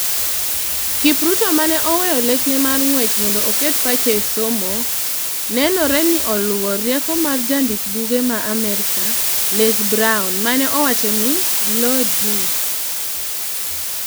Kipruto, mane oweyo lekne mar ng'wech mondo oket pache esomo, nenore ni oluwo rieko mar jandik buge ma Amerka, Les Brown mane owachoni: "Law dwe".